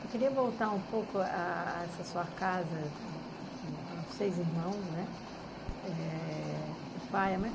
Eu queria voltar um pouco a essa sua casa com com os seis irmãos, né? É... o pai e a mãe.